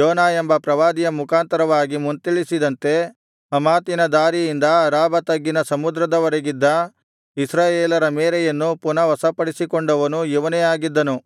ಯೋನಾ ಎಂಬ ಪ್ರವಾದಿಯ ಮುಖಾಂತರವಾಗಿ ಮುಂತಿಳಿಸಿದಂತೆ ಹಮಾತಿನ ದಾರಿಯಿಂದ ಅರಾಬಾ ತಗ್ಗಿನ ಸಮುದ್ರದವರೆಗಿದ್ದ ಇಸ್ರಾಯೇಲರ ಮೇರೆಯನ್ನು ಪುನಃ ವಶಪಡಿಸಿಕೊಂಡವನು ಇವನೇ ಆಗಿದ್ದನು